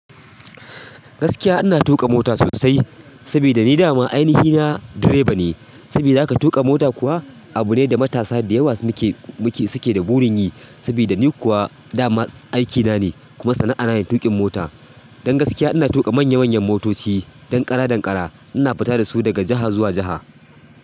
Gaskiya ina tuƙa mota sosai sabida ni dama ainihi na direba ne. Sabida haka tuƙa mota kuwa abu ne da matasa da yawa suke. Suke da burin yi. Sabida ni kuwa dama aikina ne kuma sana'ana ne tuƙin mota. Don gaskiya ina tuƙa manya manyan motoci, ɗan ƙara, ɗan ƙara ina fita da su daga jiha zuwa jiha.